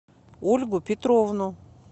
ольгу петровну